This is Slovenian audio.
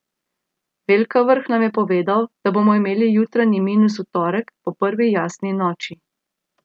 Velkavrh nam je povedal, da bomo imeli jutranji minus v torek, po prvi jasni noči.